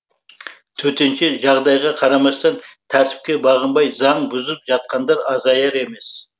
төтенше жағдайға қарамастан тәртіпке бағынбай заң бұзып жатқандар азаяр емес